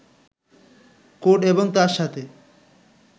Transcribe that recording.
code এবং তার সাথে